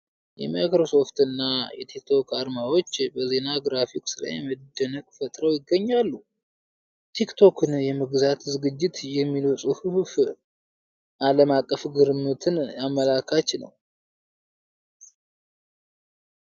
የማይክሮሶፍትና የቲክቶክ አርማዎች በዜና ግራፊክ ላይ መደነቅን ፈጥረው ይገኛሉ። "ቲክቶክን የመግዛት ዝግጅት" የሚለው ፅሁፍ ዓለም አቀፍ ግርምትን አመላካች ነው ።